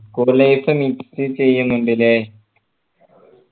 school life miss ചെയ്യുന്നുണ്ട് അല്ലെ